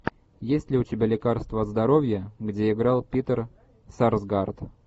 есть ли у тебя лекарство от здоровья где играл питер сарсгаард